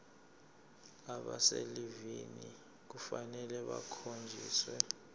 abaselivini kufanele bakhonjiswe